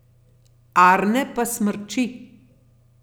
Arne pa smrči.